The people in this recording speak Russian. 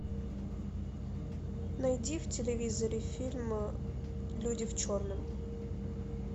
найди в телевизоре фильм люди в черном